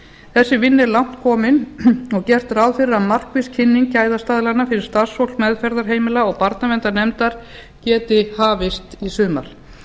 þessi vinna er langt komin og gert ráð fyrir að markviss kynning gæðastaðlanna fyrir starfsfólk meðferðarheimila og barnaverndarnefnda geti hafist í sumar